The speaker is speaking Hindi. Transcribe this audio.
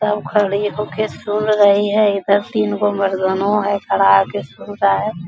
सब खड़ी हो के सुन रही है | इधर तीनगो मर्दानों है खड़ा होके सुन रहा है |